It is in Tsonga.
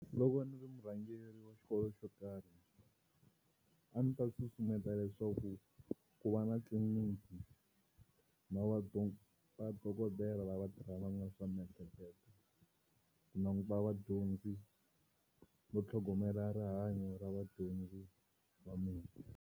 Loko a ndzi ri murhangeri wa xikolo xo karhi a ndzi ta susumeta leswaku ku va na tliliniki na vadokodela lava tirhanaka na swa miehleketo ku languta vadyondzi no tlhogomela rihanyo ra vadyondzi va mina.